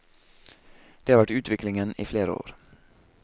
Det har vært utviklingen i flere år.